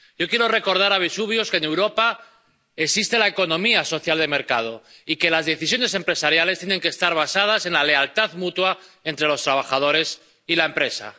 Yo quiero recordar a Vesuvius que, en Europa, existe la economía social de mercado y que las decisiones empresariales tienen que estar basadas en la lealtad mutua entre los trabajadores y la empresa.